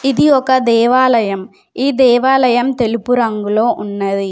ఇది ఒక దేవాలయం ఈ దేవాలయం తెలుపు రంగులో ఉన్నది.